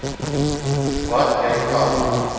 wat jy kan